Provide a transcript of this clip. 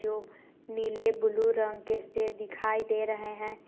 जो नीले ब्लू रंग के से दिखाई दे रहे हैं।